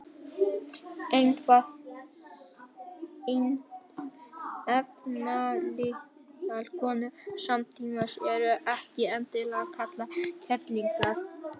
efnalitlar konur samtímans eru ekki endilega kallaðar kerlingar